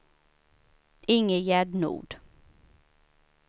Ingegärd Nord